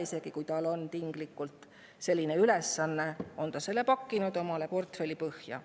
Isegi kui tinglikult on selline ülesanne, on ta selle pakkinud oma portfelli põhja.